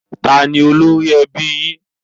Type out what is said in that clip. Taàní ólori ẹbí yín?